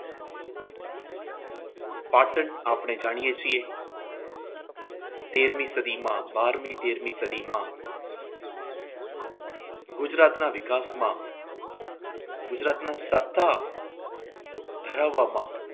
પાટણ આપણે જાણીએ છીએ તેરમી સદીમાં બારમી-તેરમી સદીમાં ગુજરાતના વિકાસમાં ગુજરાતના સત્તા ધરાવવામાં